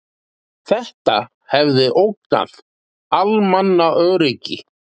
Þetta hefði ógnað almannaöryggi